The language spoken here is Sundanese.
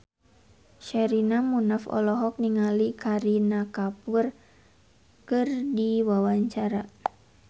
Sherina Munaf olohok ningali Kareena Kapoor keur diwawancara